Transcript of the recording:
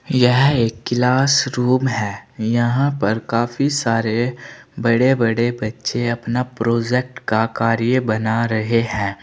यह एक किलासरूम है। यहां पर काफी सारे बड़े बड़े बच्चे अपना प्रोजेक्ट का कार्य बना रहे हैं।